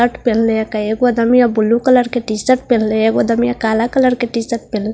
shirt पहन ले blue colour के टि_शर्ट पहन ले काला कलर के टि_शर्ट पहन --